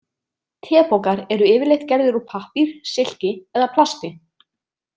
Tepokar eru yfirleitt gerðir úr pappír, silki eða plasti.